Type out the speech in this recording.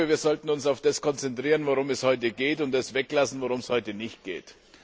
Wir sollten uns auf das konzentrieren, worum es heute geht, und das weglassen, worum es heute nicht geht.